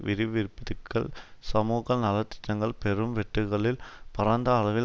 வரிவிரிப்புதிக்கள் சமுக நல திட்டங்கள் பெரும் வெட்டுக்கள் பரந்த அளவில்